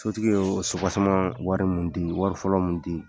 Sotigi y'o wari mun di, wari fɔlɔ mun di,